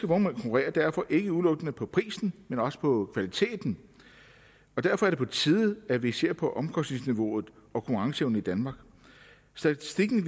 konkurrerer derfor ikke udelukkende på prisen men også på kvaliteten og derfor er det på tide at vi ser på omkostningsniveauet og konkurrenceevnen i danmark statistikken